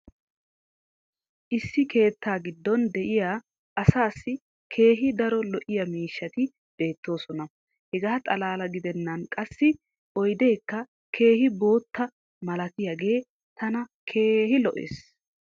issi keettaa giddon diya asaassi keehi daro lo'iya miishshati beetoosona. hegaa xalala gidennan qassi oydeekka keehi bootta malatiyaagee tana keehi lo'ees.